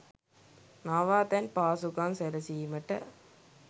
නවාතැන් පහසුකම් සැලසීමට